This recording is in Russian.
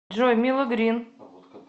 джой мило грин